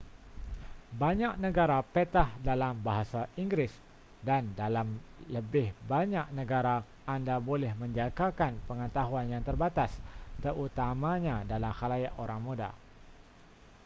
banyak negara petah dalam bahasa inggeris dan dalam lebih banyak negara anda boleh menjangkakan pengetahuan yang berbatas terutamanya dalam khalayak orang muda